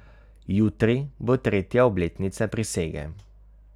Jutri bo tretja obletnica prisege.